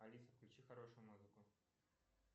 алиса включи хорошую музыку